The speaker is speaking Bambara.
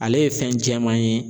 Ale ye fɛn jɛman ye.